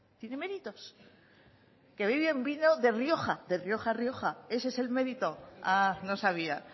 tiene méritos que beben vino de rioja de rioja rioja ese es el mérito ah no sabía